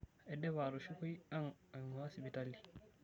Aidipa atushukoi ang' aingua sipitali.